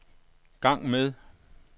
gang med